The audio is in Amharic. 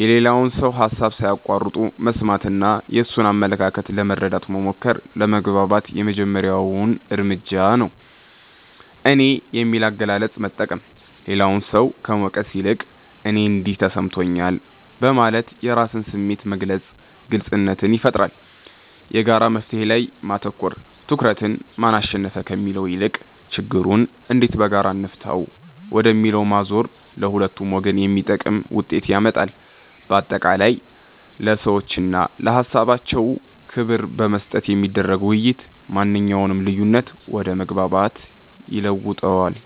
የሌላውን ሰው ሃሳብ ሳይቋርጡ መስማትና የእነሱን አመለካከት ለመረዳት መሞከር ለመግባባት የመጀመሪያው እርምጃ ነው። "እኔ" የሚል አገላለጽን መጠቀም፦ ሌላውን ሰው ከመውቀስ ይልቅ "እኔ እንዲህ ተሰምቶኛል" በማለት የራስን ስሜት መግለጽ ግልጽነትን ይፈጥራል። የጋራ መፍትሔ ላይ ማተኮር፦ ትኩረትን "ማን አሸነፈ?" ከሚለው ይልቅ "ችግሩን እንዴት በጋራ እንፍታው?" ወደሚለው ማዞር ለሁለቱም ወገን የሚጠቅም ውጤት ያመጣል። ባጠቃላይ፣ ለሰዎችና ለሃሳባቸው ክብር በመስጠት የሚደረግ ውይይት ማንኛውንም ልዩነት ወደ መግባባት ይለውጠዋል።